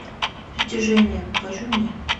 притяжение покажи мне